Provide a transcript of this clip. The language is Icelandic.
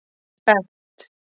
Bent